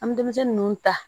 An bɛ denmisɛnnun ninnu ta